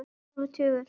Er hálfur tugur.